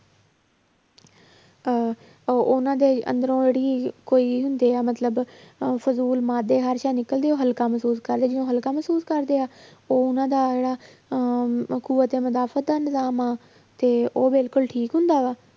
ਅਹ ਉਹ ਉਹਨਾਂ ਦੇ ਅੰਦਰੋਂ ਜਿਹੜੀ ਕੋਈ ਹੁੰਦੇ ਆ ਮਤਲਬ ਅਹ ਫਜ਼ੂਲ ਨਿਕਲਦੀਆਂ ਉਹ ਹਲਕਾ ਮਹਿਸੂਸ ਕਰਦੇ ਆ, ਜਿਵੇਂ ਹਲਕਾ ਮਹਿਸੂਸ ਕਰਦੇ ਆ, ਉਹ ਉਹਨਾਂ ਦਾ ਜਿਹੜਾ ਅਹ ਤੇ ਉਹ ਬਿਲਕੁਲ ਠੀਕ ਹੁੰਦਾ ਵਾ